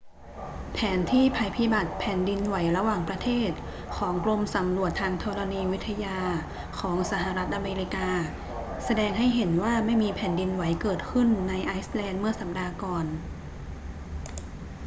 แผนที่ภัยพิบัติแผ่นดินไหวระหว่างประเทศของกรมสำรวจทางธรณีวิทยาของสหรัฐอเมริกาแสดงให้เห็นว่าไม่มีแผ่นดินไหวเกิดขึ้นในไอซ์แลนด์เมื่อสัปดาห์ก่อน